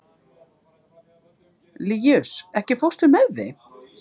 Líus, ekki fórstu með þeim?